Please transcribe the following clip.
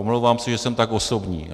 Omlouvám se, že jsem tak osobní.